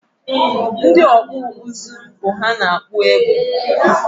Ndị ọkpụ ụzụ bụ ha na-akpụ egbe